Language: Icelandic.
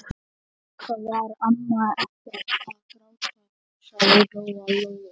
En auðvitað var amma ekkert að gráta, hugsaði Lóa-Lóa.